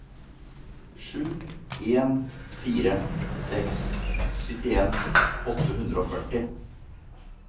sju en fire seks syttien åtte hundre og førti